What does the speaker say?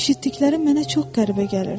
Eşitdiklərim mənə çox qəribə gəlirdi.